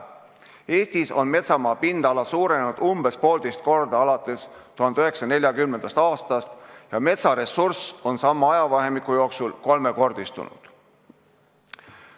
Eestis on metsamaa pindala alates 1940. aastast umbes poolteist korda suurenenud ja metsaressurss on sama ajavahemiku jooksul kolmekordistunud.